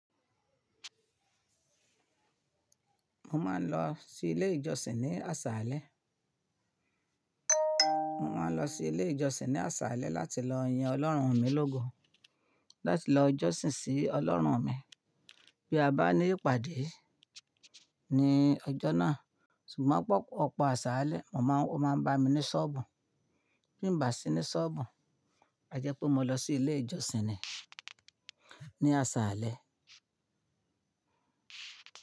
Mo máa ń lọ sí ilé ìjọsìn ní àsàlẹ. Mo máa ń lọ sí ilé ìjọsìn ní àsàlẹ láti lọ yin Ọlọ́run mi lógo, láti lọ jọ́sìn sí Ọlọ́run mi. Bí a bá ní ìpàdé ní ọjọ́ náà, ṣùgbọ́n mó ọpọ̀ àsàlẹ, mo máa ń, ọ́o máa ń bá mi ní ṣọ́ọ̀bù. Bí mo bá sí ní ṣọ́ọ̀bù, a jẹ́ pé mo lọ sí ilé ìjọsìn ni ní àsàlẹ.